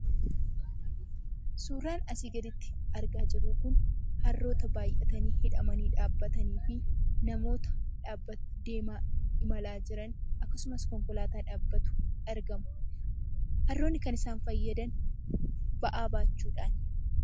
Suuraan asii gaditti argaa jirru kun, harroota baay'atanii hidhamanii dhaabbataniifi namoota imalaa jiran akkasumas konkolaataa dhaabbatu argamu. Harroonni kan isaan fayyadan ba'aa baachuudhaafi.